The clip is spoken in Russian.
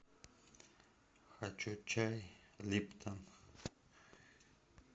хочу чай липтон